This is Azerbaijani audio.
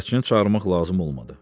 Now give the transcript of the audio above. Bələdçini çağırmaq lazım olmadı.